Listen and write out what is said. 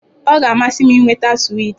Ọ ga-amasị m ịnweta swiiti.